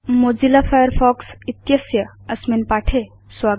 Mozilla Firefox इत्यस्य अस्मिन् पाठे स्वागतम्